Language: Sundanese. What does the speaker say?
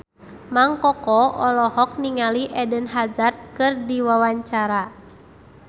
Mang Koko olohok ningali Eden Hazard keur diwawancara